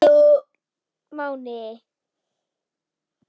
Ég gaf mig ekki!